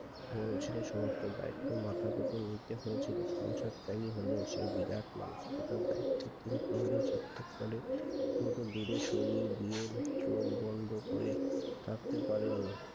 বরং যে সমস্ত দায়িত্ব মাথা পেতে নিতে হয়েছিল সংসার চালু হলেসে বিরাট মানুসিকতার দায়িত্ব তিনি কোনো দিন সার্থক বলে নতুন সরিয়ে দিয়ে চোখ বন্দ করে থাকতে পারেনি